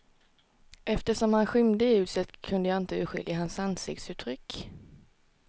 Eftersom han skymde ljuset, kunde jag inte urskilja hans ansiktsuttryck.